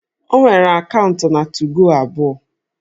O nwere akaụntụ 2go abụọ